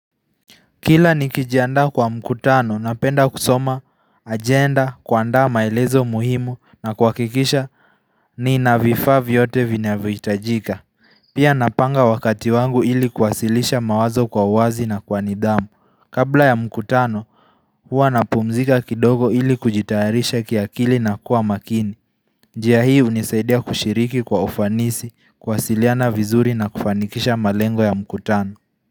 Kila nikijiandaa kwa mkutano napenda kusoma agenda kuandaa maelezo muhimu na kuhakikisha nina vifaa vyote vinavyohitajika. Pia napanga wakati wangu ili kuwasilisha mawazo kwa uwazi na kwa nidhamu. Kabla ya mkutano huwa napumzika kidogo ili kujitaharisha kiakili na kuwa makini. Njia hii hunisaidia kushiriki kwa ufanisi kuwasiliana vizuri na kufanikisha malengo ya mkutano.